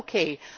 vollkommen